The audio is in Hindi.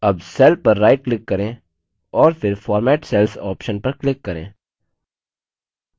अब cell पर right click करें और फिर format cells option पर click करें